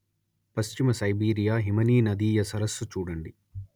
పశ్చిమ సైబీరియ హిమనీనదీయ సరస్సు చూడండి